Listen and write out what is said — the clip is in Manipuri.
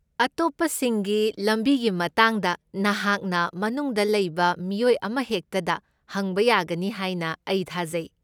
ꯑꯇꯣꯞꯄꯁꯤꯡꯒꯤ ꯂꯝꯕꯤꯒꯤ ꯃꯇꯥꯡꯗ ꯅꯍꯥꯛꯅ ꯃꯅꯨꯡꯗ ꯂꯩꯕ ꯃꯤꯑꯣꯏ ꯑꯃꯍꯦꯛꯇꯗ ꯍꯪꯕ ꯌꯥꯒꯅꯤ ꯍꯥꯏꯅ ꯑꯩ ꯊꯥꯖꯩ꯫